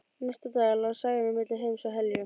Næstu daga lá Særún milli heims og helju.